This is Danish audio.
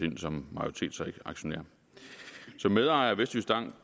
ind som majoritetsaktionær som medejer af vestjyskbank